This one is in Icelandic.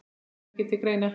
Kemur ekki til greina.